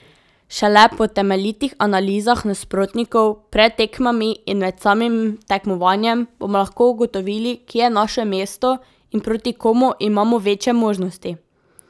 Šele po temeljitih analizah nasprotnikov pred tekmami in med samim tekmovanjem bomo lahko ugotovili, kje je naše mesto in proti komu imamo večje možnosti.